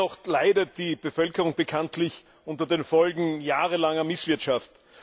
Dennoch leidet die Bevölkerung bekanntlich unter den Folgen jahrelanger Misswirtschaft.